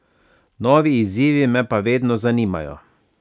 Novi izzivi me pa vedno zanimajo.